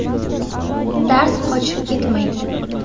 Dars qochib ketmaydi.